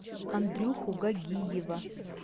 андрюху гагиева